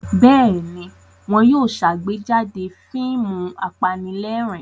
Bẹ́ẹ̀ ni, wọ́n yóò ṣàgbéjáde fíìmù apanílẹ̀rín.